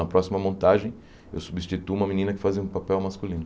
Na próxima montagem, eu substituo uma menina que fazia um papel masculino.